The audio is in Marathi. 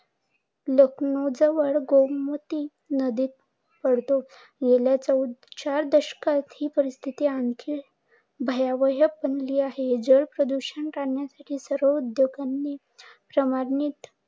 लखनऊ जवळ गोमती नदीत पडतो. चार दशकात ही परिस्थिती आणखी भयावह बनली आहे. जल प्रदूषण रोखण्यासाठी सर्व उद्योगांनी प्रमाणित